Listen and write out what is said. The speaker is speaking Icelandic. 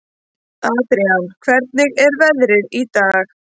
Adrian, hvernig er veðrið í dag?